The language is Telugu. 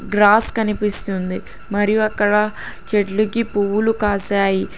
గ్రాస్ కనిపిస్తుంది మరి అక్కడ చెట్లుకి పువ్వులు కాసాయి.